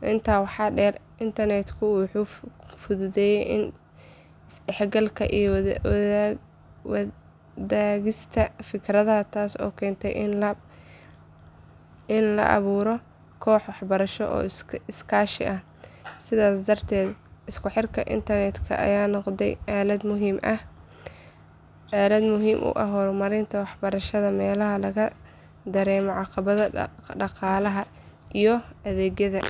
Intaa waxaa dheer, internetku wuxuu fududeeyey is dhexgalka iyo wadaagista fikradaha, taas oo keentay in la abuuro kooxo waxbarasho oo iskaashi ah. Sidaas darteed isku xirka internetka ayaa noqday aalad muhiim u ah horumarinta waxbarashada meelaha laga dareemo caqabadaha dhaqaalaha iyo adeegyada.